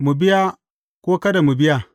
Mu biya ko kada mu biya?